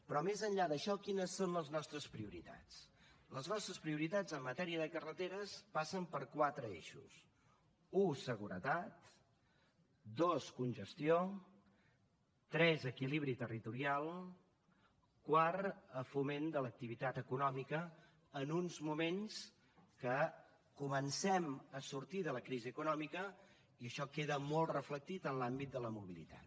però més enllà d’això quines són les nostres prioritats les nostres prioritats en matèria de carreteres passen per quatre eixos u seguretat dos congestió tres equilibri territorial quart foment de l’activitat econòmica en uns moments que comencem a sortir de la crisi econòmica i això queda molt reflectit en l’àmbit de la mobilitat